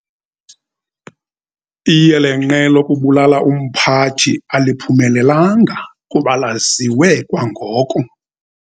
Iyelenqe lokubulala umphathi aliphumelelanga kuba laziwe kwangoko.